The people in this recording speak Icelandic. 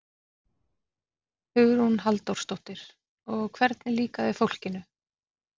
Hugrún Halldórsdóttir: Og hvernig líkaði fólkinu?